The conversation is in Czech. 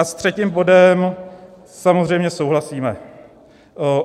A s třetím bodem samozřejmě souhlasíme.